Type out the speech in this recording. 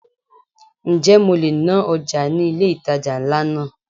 Ǹjẹ́ mo le ná ọjà ní ilé ìtajà ńlá náà?